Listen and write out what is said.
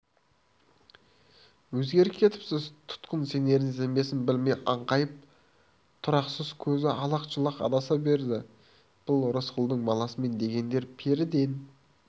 өзгеріп кетіпсіз тұтқын сенерін-сенбесін білмей аңқайып тұрақсыз көзі алақ-жұлақ адаса берді бұл рысқұлдың баласымын дегендер періден